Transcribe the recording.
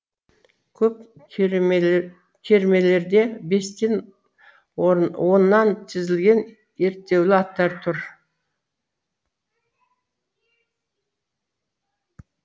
көп кермелерде бестен оннан тізілген ерттеулі аттар тұр